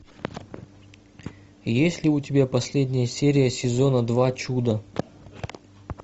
есть ли у тебя последняя серия сезона два чудо